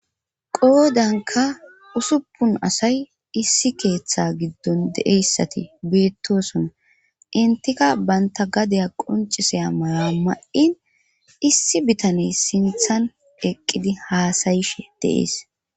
qoodanka usuppun asay issi keeththa giddon deeyssati beettosona intika banta gadeya qoncisaya mala ma7in issi bitaney sinthan eqqidi haasayishe deees